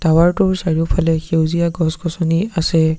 ঘৰটোৰ চাৰিওফালে সেউজীয়া গছ-গছনি আছে।